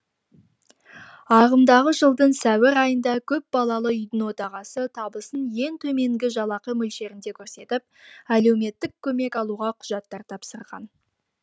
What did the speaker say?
ағымдағы жылдың сәуір айында көпбалалы үйдің отағасы табысын ең төменгі жалақы мөлшерінде көрсетіп әлеуметтік көмек алуға құжаттар тапсырған